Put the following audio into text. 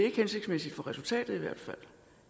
ikke hensigtsmæssigt for resultatet